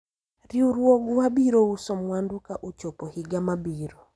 riwruogwa biro uso mwandu ka ochopo higa mabiro